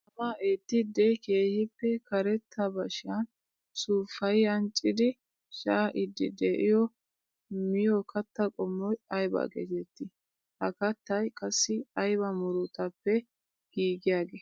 Tamaa eettidde keehippe karetta bashiyan suufayi ancciddi shaa'idde de'iyo miyo katta qommoy aybba geetetti? Ha kattay qassi aybba muruttappe giigiyaage?